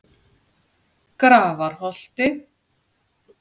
Grafarholti